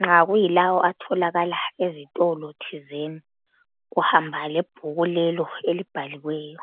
nxa kuyilawo atholakala ezitolo thizeni, uhamba lebhuku lelo elibhaliweyo